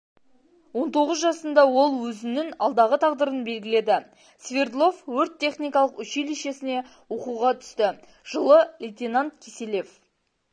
он тоғыз жасында ол өзінің алдағы тағдырын белгіледі свердлов өрт-техникалық училещесіне оқуға түсті жылы лейтенант киселев